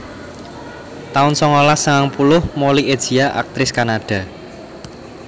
taun songolas sangang puluh Molly Ezia aktris Kanada